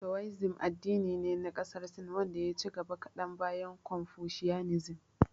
Towaizim addini ne na ƙasar Sin wanda ya ci gaba kadan bayan konfushiyanizim.